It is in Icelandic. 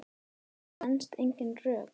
Þetta stenst engin rök.